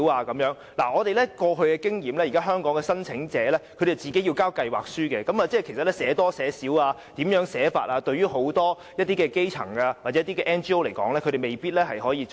根據我們過往的經驗，現時香港的申請者須自行提交計劃書，究竟應寫多一些還是寫少一些資料或如何擬備等，對很多基層或 NGO 而言是未必懂得怎樣做的。